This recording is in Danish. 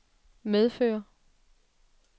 medfører